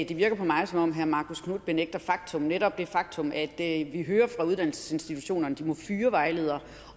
det virker på mig som om herre marcus knuth benægter faktum netop det faktum at vi hører fra uddannelsesinstitutionerne at de må fyre vejledere